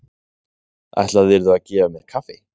Ætlaðirðu að gefa mér kaffi?